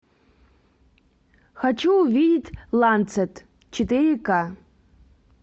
хочу увидеть ланцет четыре ка